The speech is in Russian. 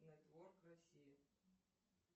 нетворк россия